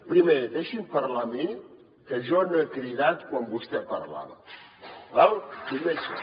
primer deixi’m parlar a mi que jo no he cridat quan vostè parlava d’acord primer això